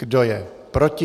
Kdo je proti?